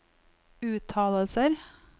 uttalelser